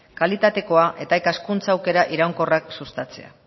kalitatea eta ikaskuntza iraunkorrak sustatzea